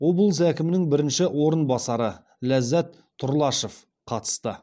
облыс әкімінің бірінші орынбасары ляззат тұрлашов қатысты